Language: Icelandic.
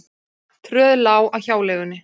Tröð lá að hjáleigunni.